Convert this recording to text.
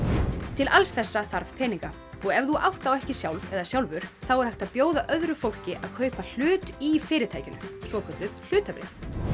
til alls þessa þarf peninga og ef þú átt þá ekki sjálf eða sjálfur þá er hægt að bjóða öðru fólki að kaupa hlut í fyrirtækinu svokölluð hlutabréf